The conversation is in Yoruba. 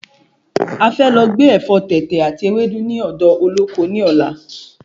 A fẹ́ lọ gbé Ẹ̀fọ́ tètè àti Ẹwẹ́dú ni odo Olóko ní ọ̀la